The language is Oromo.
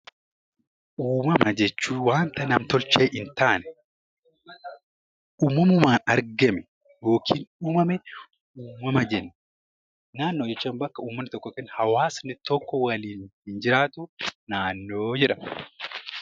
Uumama jechuun wanta nam-tolchee hin taane uumamumaan argame yookiin uumame uumama jenna. Naannoo jechuun bakka ummanni tokko (hawaasni tokko) waliin jiraatu naannoo jedhama.